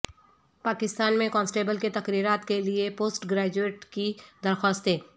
پاکستان میں کانسٹبل کے تقررات کے لئے پوسٹ گریجویٹس کی درخواستیں